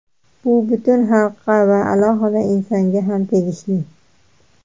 Bu butun xalqqa va alohida insonga ham tegishli.